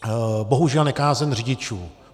Bohužel nekázeň řidičů.